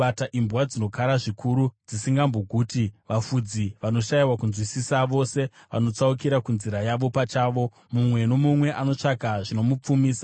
Imbwa dzinokara zvikuru; dzisingamboguti. Vafudzi vanoshayiwa kunzwisisa: vose vanotsaukira kunzira yavo pachavo, mumwe nomumwe anotsvaka zvinomupfumisa.